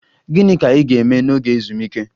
Gịnị ka ị ga-eme n'oge ezumike?